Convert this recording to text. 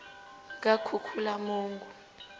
kakhukhulamungu